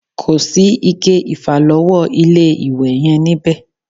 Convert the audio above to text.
Kosi ike ìfàlọ́wọ́ ilé-ìwẹ̀ yẹn níbẹ̀